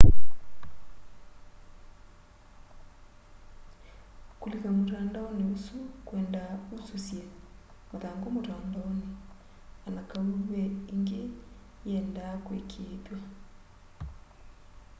kũlĩka mũtandaonĩ ũsũ kwendaa ũsyũsye mathangũ mũtandaonĩ anakaũ ve ĩngĩ yeenda kũĩkĩĩthwya